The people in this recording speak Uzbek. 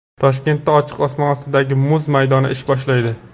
Toshkentda ochiq osmon ostidagi muz maydoni ish boshlaydi.